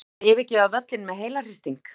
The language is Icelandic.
Þurfti að yfirgefa völlinn með heilahristing.